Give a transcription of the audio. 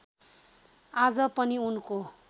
आज पनि उनको